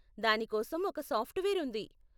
దాని కోసం ఒక సాఫ్ట్వేర్ ఉంది.